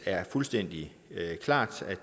er fuldstændig klart at